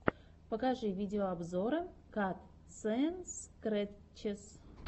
покажи видеообзоры катсэндскрэтчес